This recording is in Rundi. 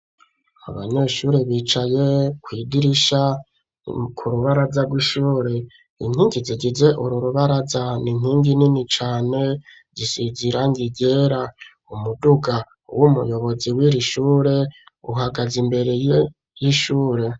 Abanyeshuri bicaye kw'idirisha ku rubaraza rw'ishure inkingi zigize ururubaraza n'inkingi nini cane isize irangi ryera umuduga w'umuyobozi wiri shure uhagaze imbere y'ishure